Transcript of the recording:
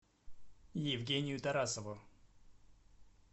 евгению тарасову